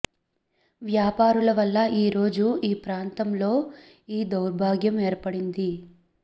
వ్యాపారుల వల్ల ఈరోజు ఈ ప్రాంతం లో ఈ దౌర్భాగ్యం ఏర్పడింది